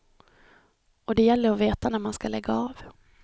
Och det gäller att veta när man ska lägga av.